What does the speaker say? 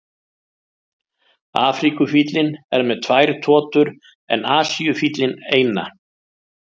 Afríkufíllinn er með tvær totur en Asíufíllinn eina.